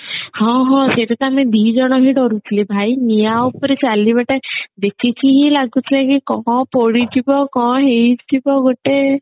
ହଁ ହଁ ସେଟା ତ ଆମେ ଦିଜଣ ହିଁ ଡରୁଥିଲୁ ଭାଇ ନିଆଁ ଉପରେ ଚାଲିବା ଟା ଦେଖିକି ହିଁ ଲାଗୁଥାଏ କି କଣ ପୋଡିଯିବ କଣ ହେଇଯିବ ଗୋଟେ